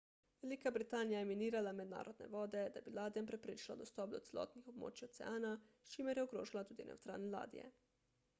velika britanija je minirala mednarodne vode da bi ladjam preprečila dostop do celotnih območij oceana s čimer je ogrožala tudi nevtralne ladje